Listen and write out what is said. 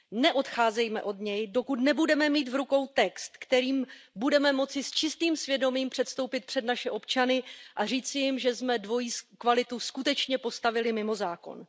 Neodcházejme od něj, dokud nebudeme mít v rukou text, se kterým budeme moci s čistým svědomím předstoupit před naše občany a říci jim, že jsme dvojí kvalitu skutečně postavili mimo zákon.